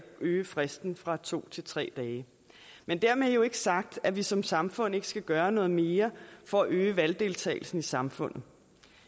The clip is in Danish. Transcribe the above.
øge fristen fra to til tre dage men dermed jo ikke sagt at vi som samfund ikke skal gøre noget mere for at øge valgdeltagelsen i samfundet